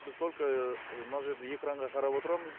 біз только мына жерде экранға қарап отырамыз